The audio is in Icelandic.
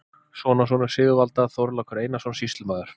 Sonarsonur Sigvalda, Þorlákur Einarsson, sýslumaður